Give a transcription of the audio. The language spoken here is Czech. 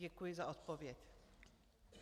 Děkuji za odpověď.